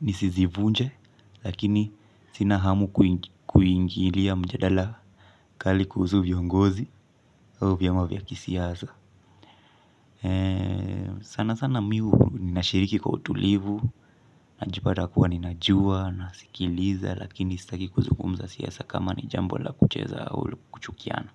nisizivunje. Lakini sina hamu kuingilia mjadala kali kuhusu viongozi au viama vya kisiasa. Sana sana mimi nashiriki kwa utulivu. Najipata kuwa ninajua, nasikiliza. Lakini sitaki kuzungumza siasa kama ni jambo la kucheza au la kuchukiana.